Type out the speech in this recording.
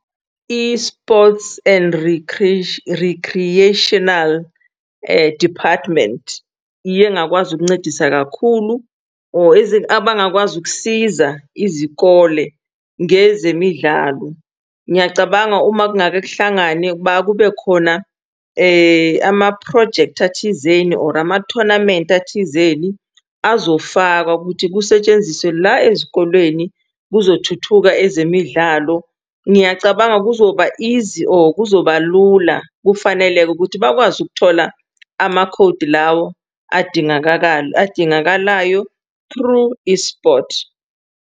I-sports and recreational department iyengakwazi ukuncedisa kakhulu or abangakwazi ukusiza izikole ngezemidlalo. Ngiyacabanga uma kungake kuhlangane kube khona amaphrojekthi athizeni or ama-tournament athizeni azofakwa ukuthi kusetshenziswe la ezikolweni kuzothuthuka ezemidlalo ngiyacabanga kuzoba easy or kuzobalula. Kufanele-ke ukuthi bakwazi ukuthola amakhodi lawo adingakalayo through i-sport.